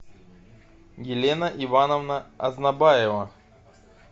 елена ивановна азнабаева